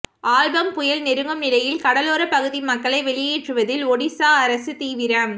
ஆம்பம் புயல் நெருங்கும் நிலையில் கடலோர பகுதி மக்களை வெளியேற்றுவதில் ஒடிஷா அரசு தீவிரம்